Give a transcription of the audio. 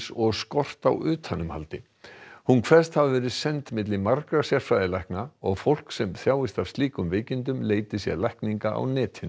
og skort á utanumhaldi hún kveðst hafa verið send milli margra sérfræðilækna og fólk sem þjáist af slíkum veikindum leiti sér lækninga á netinu